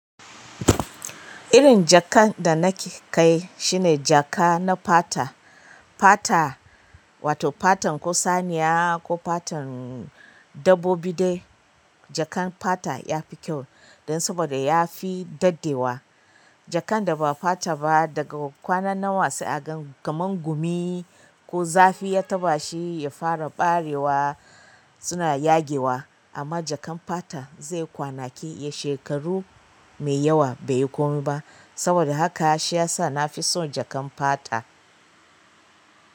Irin jakan da nake kai shine jaka na fata. Fata wato fatan ko saniya ko fatan dabbobi dai. Jakan fata ya fi kyau dan saboda ya fi daɗewa. Jakan da ba fata ba daga kwana nawa sai aga kaman gumi ko zafi ya taɓa shi ya fara ɓarewa suna yagewa amma jakan fata zai kwana ke ya shekaru mai yawa bai yi komai ba. Saboda haka shi ya sa na fi son jakan fata.